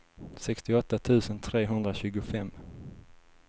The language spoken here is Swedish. sextioåtta tusen trehundratjugofem